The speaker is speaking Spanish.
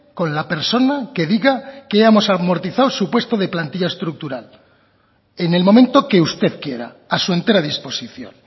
con la persona que diga que hemos amortizado su puesto de plantilla estructural en el momento que usted quiera a su entera disposición